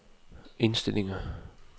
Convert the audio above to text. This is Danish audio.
indstillinger